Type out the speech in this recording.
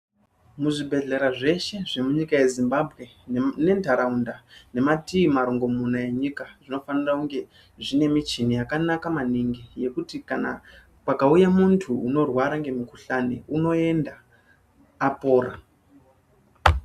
Muzvibhehlera zveshe zvemunyika yezimbabwe nenharaunda nematii marongomuna enyika zvinofanire kunge zvine michini yakanaka maningi yekuti kana pakauye muntu unorwara ngemukhuhlani unoenda apora.